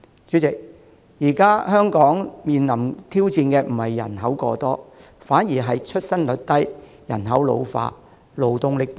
主席，現時香港面臨的挑戰不是人口過多，反而是出生率低、人口老化和勞動力不足。